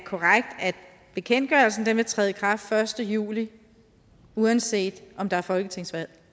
bekendtgørelsen vil træde i kraft den første juli uanset om der er folketingsvalg